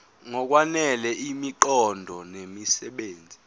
ngokwanele imiqondo nemisebenzi